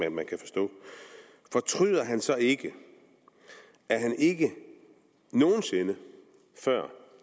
at man kan forstå fortryder han så ikke at han ikke nogen sinde før